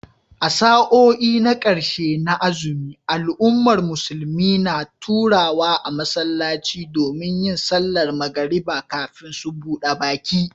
A sa'o'i na karshe na azumi, al'ummar musulmi na taruwa a masallaci domin yin sallar magariba kafin su buda baki